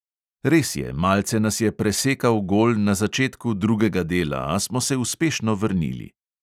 Res je, malce nas je presekal gol na začetku drugega dela, a smo se uspešno vrnili.